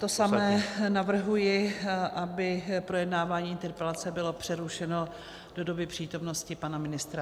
To samé, navrhuji, aby projednávání interpelace bylo přerušeno do doby přítomnosti pana ministra.